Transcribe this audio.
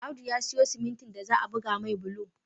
Audu ya siyo simintin da za'a buga mai bulo